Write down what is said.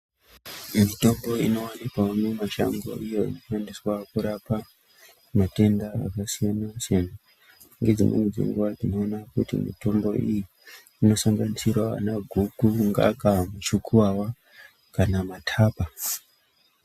Imwe mitombo ino wanikwa mumashango iyo ishandiswa kurapa matenda akasiyana siyana nedzimweni dzenguwa tinoona kuti mitombo iyi ino sanganisirawo vana guku, ngaka muchukuwawa kana matapa.